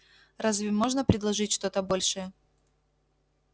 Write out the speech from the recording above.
разве можно предложить что-то большее